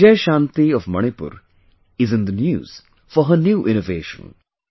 Bijay Shanti of Manipur is in the news for her new innovation